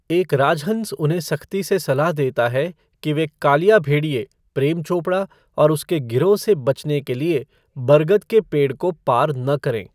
एक राज हंस उन्हें सख्ती से सलाह देता है कि वे कालिया भेड़िये प्रेम चोपड़ा और उसके गिरोह से बचने के लिए बरगद के पेड़ को पार न करें।